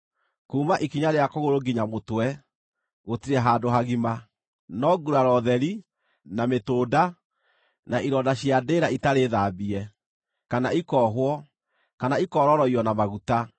Kuuma ikinya rĩa kũgũrũ nginya mũtwe gũtirĩ handũ hagima: no nguraro theri, na mĩtũnda, na ironda cia ndĩĩra itarĩ thambie, kana ikoohwo, kana ikororoiyo na maguta.